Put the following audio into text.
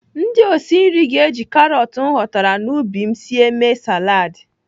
Ndị osi nri ga-eji karọt m ghọtara n'ubi m sie mee saladị.